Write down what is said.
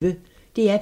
DR P1